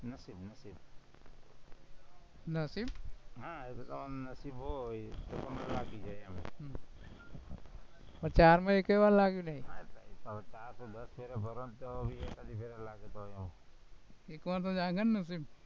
નથી? હા એવું તમારું નસીબ હોય તો તમને લાગી જાય એમ ચાર્મ એકેય વાર લાગ્યું નહીં ચાર તો દસ ફેરે ભરો ને તો ભી એકાદી ફેરે લાગે તો ઘણું